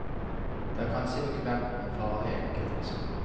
Det er kanskje bekvemt, men farlig enkelt.